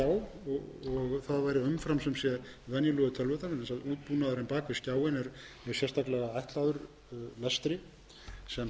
og það væri umfram venjulegu tölvurnar vegna þess að útbúnaðurinn bak við skjáinn er sérstaklega ætlaður lestri sem